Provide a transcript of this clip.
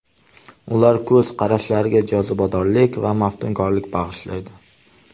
Ular ko‘z qarashlariga jozibadorlik va maftunkorlik bag‘ishlaydi.